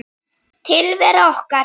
Tilvera okkar